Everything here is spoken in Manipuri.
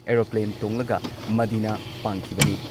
ꯑꯦꯔꯣꯄ꯭ꯂꯦꯟ ꯇꯣꯡꯂꯒ ꯃꯗꯤꯅꯥ ꯄꯥꯡꯈꯤꯕꯅꯤ꯫